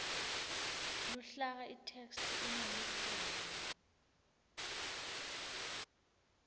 luhlaka itheksthi ineluhlelo